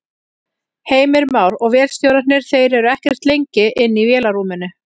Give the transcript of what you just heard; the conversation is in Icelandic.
Heimir Már: Og vélstjórarnir, þeir eru ekkert lengi inni í vélarrúminu?